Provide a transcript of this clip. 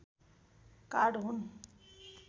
card हुन्